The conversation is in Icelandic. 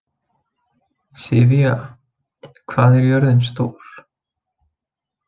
Sivía, hvað er jörðin stór?